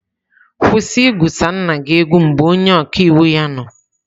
Kwụsị igwusa nna gị egwu mgbe onye ọka iwu ya nọ.